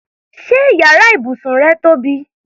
Ṣé yàrá ibùsùn rẹ tóbi?